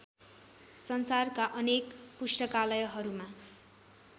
संसारका अनेक पुस्तकालयहरूमा